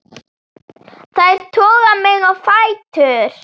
Þær toga mig á fætur.